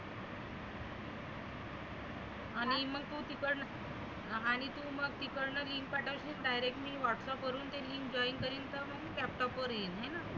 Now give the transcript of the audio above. आणि मग तु तिकड आणि तु मग तिकडचं link पाठव direct मी whatsapp वरुण ते link join करीन तर मग laptop वर येईल. हाय ना?